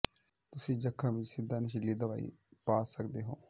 ਤੁਸੀਂ ਜ਼ਖ਼ਮ ਵਿਚ ਸਿੱਧਾ ਨਸ਼ੀਲੀ ਦਵਾਈ ਪਾ ਸਕਦੇ ਹੋ